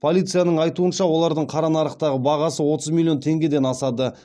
полицияның айтуынша олардың қара нарықтағы бағасы отыз миллион теңгеден асады